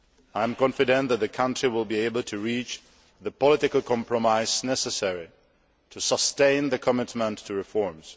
I am confident that the country will be able to reach the political compromise necessary to sustain the commitment to reforms.